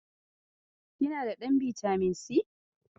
Kina da ɗan bitamin si?